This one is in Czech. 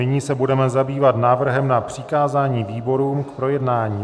Nyní se budeme zabývat návrhem na přikázání výborům k projednání.